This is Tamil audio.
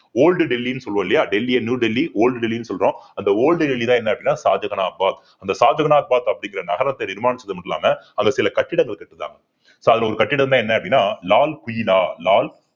old டெல்லின்னு சொல்லுவோம் இல்லையா டெல்லியை new டெல்லி old டெல்லின்னு சொல்றோம் அந்த old டெல்லின்னா என்ன அப்படின்னா ஷாஜகானா பாத் அந்த ஷாஜகானாபாத் அப்படிங்கிற நகரத்தை நிர்மாணிச்சது மட்டும் இல்லாம அந்த சில கட்டிடங்கள் கட்டினார் so அதுல ஒரு கட்டிடம்தான் என்ன அப்படின்னா லால் கிலா லால்